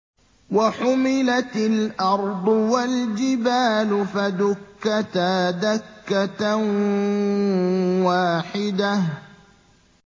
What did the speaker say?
وَحُمِلَتِ الْأَرْضُ وَالْجِبَالُ فَدُكَّتَا دَكَّةً وَاحِدَةً